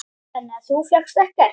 Þannig að þú fékkst ekkert?